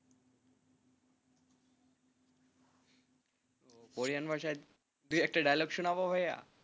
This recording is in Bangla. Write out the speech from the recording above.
কোরিয়ান ভাষায় দু একটা Dialogue শোনাবো ভাইয়া।